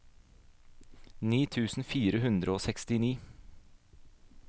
ni tusen fire hundre og sekstini